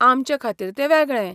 आमचेखातीर तें वेगळें!